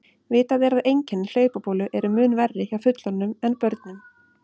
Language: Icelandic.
Vitað er að einkenni hlaupabólu eru mun verri hjá fullorðnum en börnum.